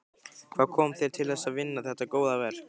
Hvað kom þér til þess að vinna þetta góða verk?